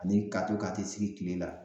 Ani ka to ka t'i sigi kile la